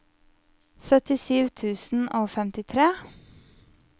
syttisju tusen og femtitre